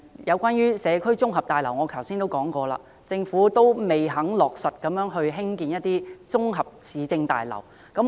有關社區綜合大樓，我剛才已經提過，政府仍未肯落實興建綜合市政大樓。